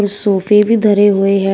सोफे भी धरे हुए हैं।